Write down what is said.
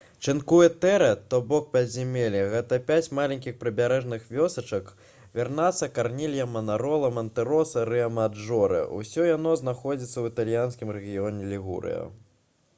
чынкуэ тэре то бок пяцізямелле — гэта пяць маленькіх прыбярэжных вёсачак вернацца карнілья манарола мантэроса і рыамаджорэ. усе яны знаходзяцца ў італьянскім рэгіёне лігурыя